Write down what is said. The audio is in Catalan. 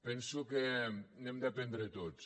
penso que n’hem d’aprendre tots